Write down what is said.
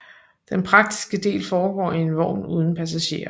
Den praktiske del foregår i en vogn uden passagerer